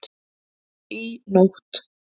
Í nótt